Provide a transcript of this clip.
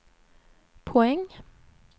poäng